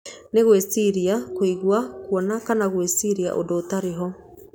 Nĩ gwĩciria, kũigua, kwona kana gwĩciria úndú ũtarĩ ho.